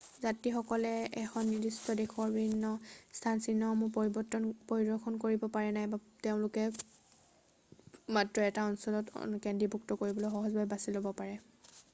যাত্ৰীসকলে এখন নিদিষ্ট দেশৰ বিভিন্ন স্থানচিহ্নসমূহ পৰিদৰ্শন কৰিব পাৰে নাইবা তেওঁলোকে মাত্ৰ 1 টা অঞ্চলত কেন্দ্ৰীভূত কৰিবলৈ সহজভাৱে বাছি ল'ব পাৰে৷